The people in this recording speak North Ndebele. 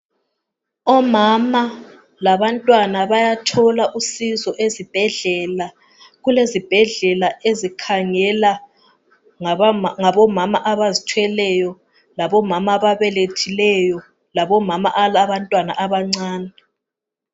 Omama labantwana bayathola usizo ezibhedlela, kulezibhedlela ezikhangela ngabomama abazithweleyo, labomama ababelethileyo, labomama abalabantwana abancane.